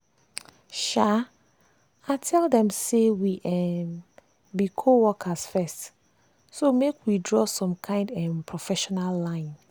um i tell dem say we um be co-worker first so make we draw some kind um professional line.